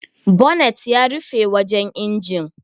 Bonet yana rufe wajan injin.